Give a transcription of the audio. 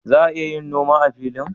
Za a yin noma a filin?